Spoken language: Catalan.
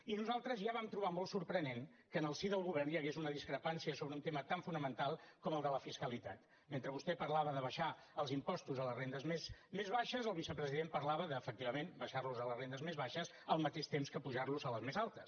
i nosaltres ja vam trobar molt sorprenent que en el si del govern hi hagués una discrepància sobre un tema tan fonamental com el de la fiscalitat mentre vostè parlava d’abaixar els impostos a les rendes més baixes el vicepresident parlava d’efectivament abaixarlos a les rendes més baixes al mateix temps que apujarlos a les més altes